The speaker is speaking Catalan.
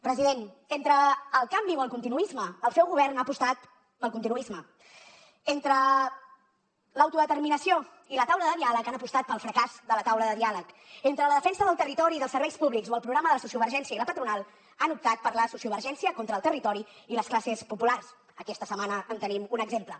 president entre el canvi o el continuisme el seu govern ha apostat pel continuisme entre l’autodeterminació i la taula de diàleg han apostat pel fracàs de la taula de diàleg entre la defensa del territori i dels serveis públics o el programa de la sociovergència i la patronal han optat per la sociovergència contra el territori i les classes populars aquesta setmana en tenim un exemple